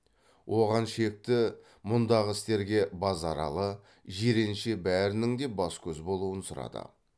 оған шекті мұндағы істерге базаралы жиренше бәрінің де бас көз болуын сұрады